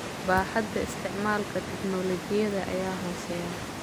Baaxadda isticmaalka tignoolajiyada ayaa hooseysa.